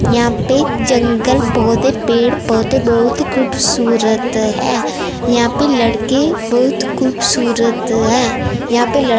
यहां पे जंगल पौधे पेड़ पौधे बहुत खूबसूरत है यहां पे लड़के बहुत खूबसूरत है यहां पे ल--